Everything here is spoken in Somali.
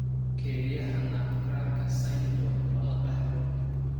Kelyaha nutcracker syndrome lama dhaxlo.